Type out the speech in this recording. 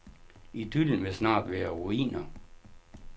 Idyllen vil snart være ruiner.